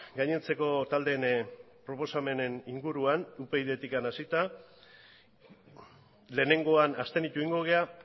gainontzeko taldeen proposamenen inguruan upydtik hasita lehenengoa abstenitu egingo gara